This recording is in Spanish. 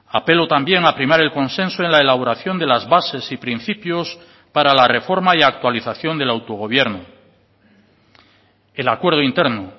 apelo también a primar el consenso en la elaboración de las bases y principios para la reforma y actualización del autogobierno el acuerdo interno